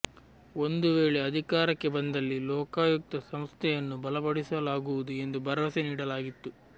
ಒಂದು ವೇಳೆ ಅದಿಕಾರಕ್ಕೆ ಬಂದಲ್ಲಿ ಲೋಕಾಂುುುಕ್ತ ಸಂಸ್ಥೆಂುುನ್ನು ಬಲಪಡಿಸಲಾಗುವುದು ಎಂದು ಬರವಸೆ ನೀಡಲಾಗಿತ್ತು